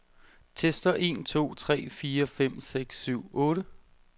Tester en to tre fire fem seks syv otte.